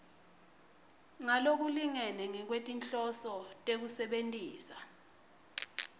ngalokulingene ngekwetinhloso tekusebentisa